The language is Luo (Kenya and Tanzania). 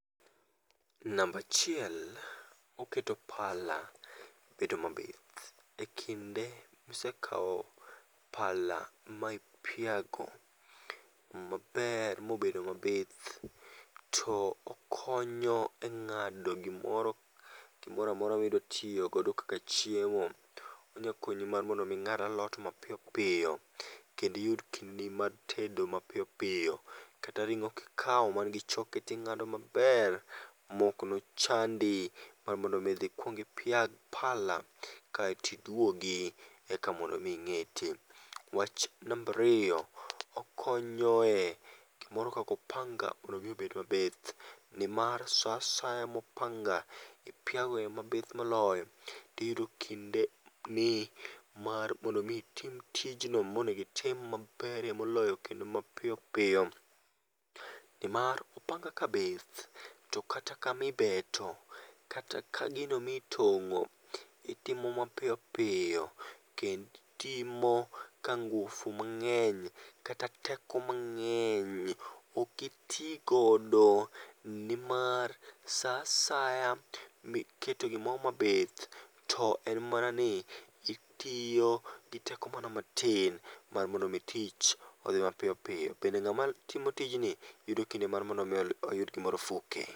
Namba achiel, oketo pala bedo mabith. E kinde ma isekawo pala ma ipiago ma ber ma obet ma bith to okoyo e ng'ado gi moro gi moro amora mi idwa tiyo godo kaka chiemo. Onya konyi mar mondo mi ing'ad alot ma piyo piyo kendo iyud kinde mar tedo ma piyo piyo, kata ring'o ki kawo man gi choke ti ing'ado ma ber ma ok ne chandi mar mondo idhi ipiag pala kaito mi idwogi eka mondo mi ingete. Wach mar ariyo , okonyo e gi moro kaka opanga mondo i obed ma bith ni mar sa asaya ma opanga ipiago e ma bith moloyo ti iyudo kinde ni mar mondo itim tij ma ber moloyo kinde ma piyo piyo ni mar opanga ka bith to kata kama beto, kata ka gino ma ne itongo itimo ma piyo piyo kendo itimo ka nguvu mang'eny kata teko mang'eny ok iti godo ni mar sa asaya mi iketo gi moro ma bith to en mana ni itiyo gi teko ma tin mar mondo tich odhi ma piyo piyo, bende ng'ama tiyo tijni yudo kinde mar mondo mi oyud gi moro four k